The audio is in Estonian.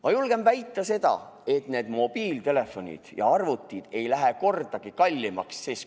Ma julgen väita, et mobiiltelefonid ja arvutid ei lähe mitu korda kallimaks.